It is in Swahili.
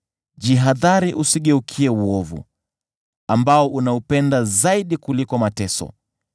Jihadhari usigeukie uovu, ambao unaupenda zaidi kuliko mateso.